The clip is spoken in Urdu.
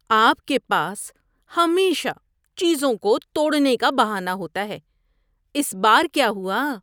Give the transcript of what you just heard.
آپ کے پاس ہمیشہ چیزوں کو توڑنے کا بہانہ ہوتا ہے۔ اس بار کیا ہوا؟